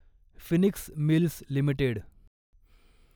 Phoenix Mills limited